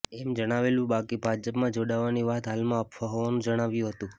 એમ જણાવેલું બાકી ભાજપમાં જોડાવાની વાત હાલમાં અફવા હોવાનું જણાવ્યું હતું